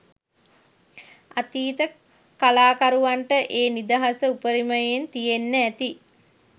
අතීත කලාකරුවන්ට ඒ නිදහස උපරිමයෙන් තියෙන්න ඇති